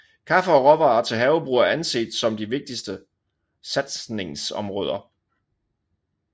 Kaffe og råvarer til havebrug er anset som de vigtigste satsningsområder